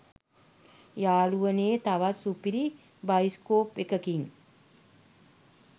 යහළුවනේ තවත් සුපිරි බයිස්කෝප් එකකින්